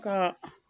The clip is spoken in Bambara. Ka